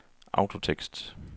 autotekst